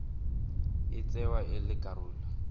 e tsewa e le karolo